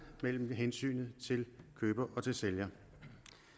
mellem hensynet til køber og hensynet til sælger